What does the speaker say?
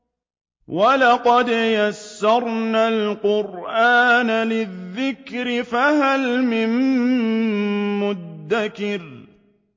وَلَقَدْ يَسَّرْنَا الْقُرْآنَ لِلذِّكْرِ فَهَلْ مِن مُّدَّكِرٍ